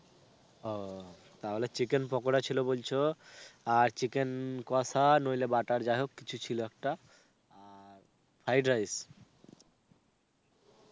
ও, তাহলে chicken পকোড়া ছিল বলছো আর chicken কষা নইলে butter যাই হোক কিছু ছিল একটা fried rice?